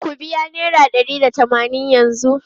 Ku biya naira ɗari da tamanin yanzu!